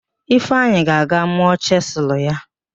Ifeanyị ga-aga mụọ chịsịlụ ya